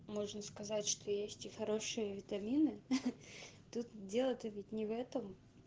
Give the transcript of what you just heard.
можно сказать что есть и хорошие витамины тут дело-то ведь не в этом